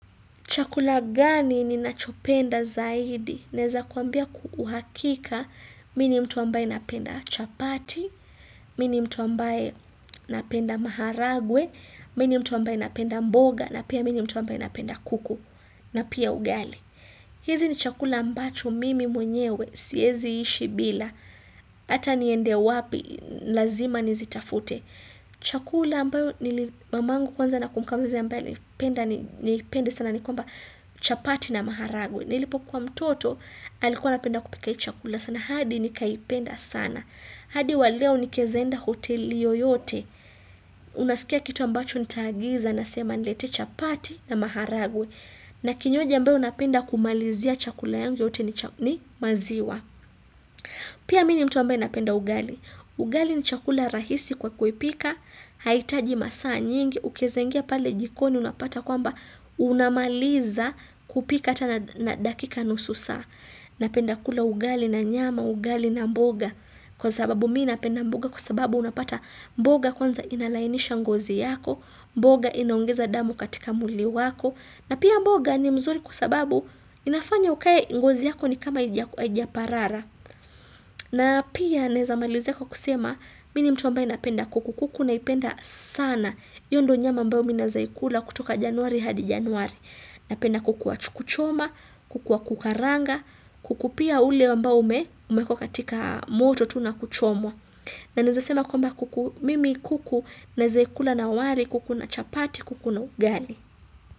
Chakula gani ninachopenda zaidi? Naeza kuambia kwahakika mi ni mtu ambaye napenda chapati, mi ni mtu ambaye napenda maharagwe, mini mtu ambaye napenda mboga, na pia mi ni mtu ambaye napenda kuku, na pia ugali. Hizi ni chakula ambacho mimi mwenyewe, siezi ishi bila, hata niende wapi, lazima nizitafute. Chakula ambayo mamangu kwanza na kumbuka wazi ambayo nipende sana ni kuamba chapati na maharagwe. Nilipo kuwa mtoto alikuwa napenda kupika hii chakula sana, hadi nikaipenda sana. Hadi waleo nikiezaenda hoteli yoyote, unasikia kitu ambacho nitaagiza nasema niletee chapati na maharagwe. Na kinywaji mbeo unapenda kumalizia chakula yangu yote ni maziwa. Pia mi ni mtu ambaye napenda ugali. Ugali ni chakula rahisi kwa kuipika, haitaji masaa nyingi, ukiezangia pale jikoni unapata kwamba unamaliza kupika hata na dakika nusu saa. Napenda kula ugali na nyama ugali na mboga kwa sababu mi napenda mboga kwa sababu unapata mboga kwanza inalainisha ngozi yako, mboga inaongeza damu katika mwili wako na pia mboga ni mzuri kwa sababu inafanya ukae ngozi yako ni kama haija parara. Na pia naezamalizia kwa kusema mi ni mtu ambaye napenda kuku kuku naipenda sana hiyo ndo nyama ambayo mi naezaikula kutoka januari hadi januari. Napenda kuku wa kuchoma, kuku wa kukaranga, kuku pia ule ambao umeekwa katika moto tu nakuchomwa. Na naeza sema kwamba kuku mimi kuku naezaikula na wali kuku na chapati kuku na ugali.